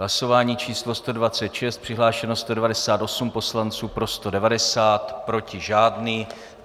Hlasování číslo 126, přihlášeno 198 poslanců, pro 190, proti žádný.